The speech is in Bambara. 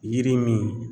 Yiri min